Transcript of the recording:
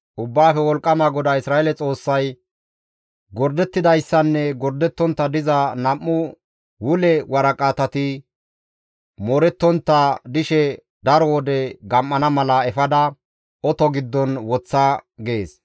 Ubbaafe Wolqqama GODAA Isra7eele Xoossay, «Gordettidayssanne gordettontta diza nam7u wule waraqatati moorettontta dishe daro wode gam7ana mala efada oto giddon woththa» gees.